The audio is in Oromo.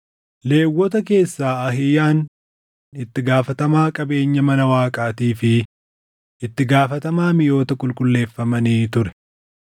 Lewwota keessaa Ahiiyaan itti gaafatamaa qabeenya mana Waaqaatii fi itti gaafatamaa miʼoota qulqulleeffamanii ture.